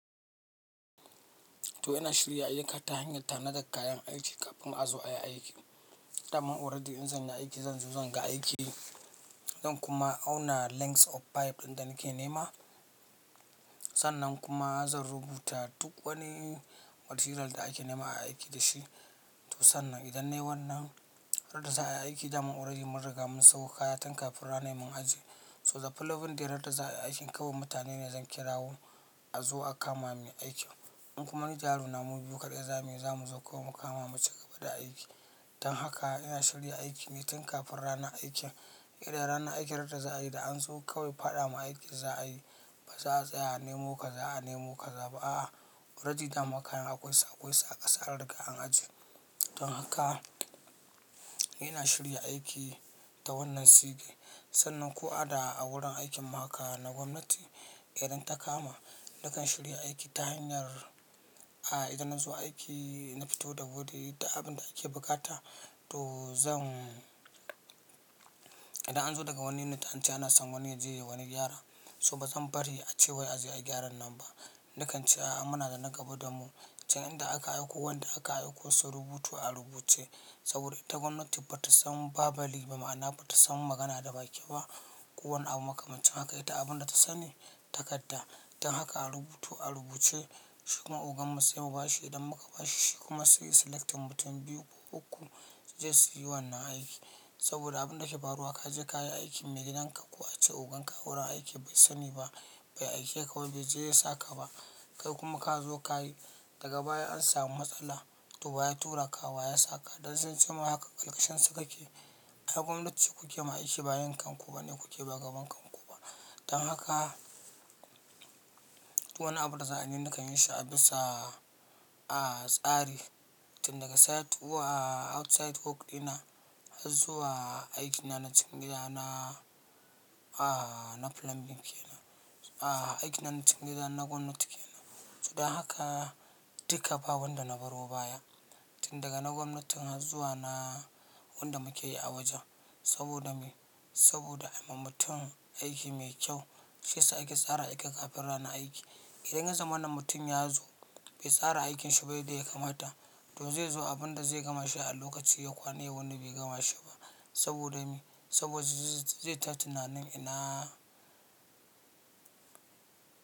To ina shirya aiki ta hanyar tanada kayan aiki kafin a zo ayi aiki. Da man already in zan yi aiki zan zo zan ga aiki, zan kuma auna lengths of pipe ɗin da nake nema. Sannan kuma zan rubuta duk wani material da ake nema a yi aiki da shi. To sannan idan nai wannan, har da za a yi aiki da mun already mun riga mun sawo kaya tin kafin ranar mun aje. So the plan ɗin da yarda za a yi aikin kawai mutane ne zan kirawo a zo a kama mini aikin. In kuma ni jaruna mu biyu kaɗai za mu yi, za mu zo kawai mu kama mu cigaba da aiki. Dan haka ina shirya aiki ne tin kafin ranar aikin. Idan ranar aikin yarda za a yi da an zo kawai faɗa ma aikin za a yi. Ba za a tsaya a nemo ka, za a nemo ka, ba a a. Already da ma kayan akwai su, akwaisu a kasa anriga an ajiye. Dan haka ina shirya aiki da wannan sigi. Sannan ko a da a wurin aikin mahaka na gwamnati, idan ta kama nakan shirya aiki ta hanyar, a idan in zo aiki na fito da wuri da abin da ake bukata to zan idan an zo daga wani na tance ana son wani ya je wani gyara, so ba zan bari a ce wai a zo ayi gyaran nan ba. Nakan ce a a muna da na gaba da mu can inda aka aiko wanda aka aiko su rubuto a rubuce. Saboda ita gwamnati ba ta san babali ba, ma'ana ba ta san magana da baki ba. Ko wani abu makamancin haka ita abunda ta sani takadda. Dan haka a rubutu a rubuce shi kuma ogan mu sai mu bashi idan muka bashe shi kuma sai selecting mutum biyu ko uku su je su yi wannan aiki. Saboda abunda ke faruwa kaje kayi aikin maigidanka kuwa ace ogan ka wurin aiki bai sani ba, bai aike ka wai bai je ya saka ba. Kai kuma ka zo ka yi daga baya an samu matsala to baya tura ka wa ya saka. Dan sun ce ma haka collection su kake. A gwamnati kuke ma aiki bayan kanku ba ne kuke ba gaban kanku ba. Dan haka, to wani abu da za a yi nakan yi shi a bisa, a tsari. Tin daga site w a outside work dina, har zuwa aikina na cikin gida na, a na plumbing ke nan. A aikina na cikin gida na gwamnati ke nan. So dan haka dika ba wanda na baro baya. Tin daga na gwamnatin har zuwa na wanda muke yi a waje. Saboda me? Saboda aima mutum aiki mai kyau shiya sa aike tsara aiki kafin rana aiki. Idan yanzu wannan mutum ya zo bai tsara aikinshi ba yadda yakamata, to zai zo abunda zai gama shi a lokaci ya kwana ya wuni bai gama shi ba. Saboda me? Saboda zai ta tunanin ina.